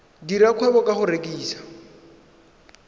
dira kgwebo ka go rekisa